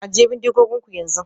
Ajiye bindigoginku yanzu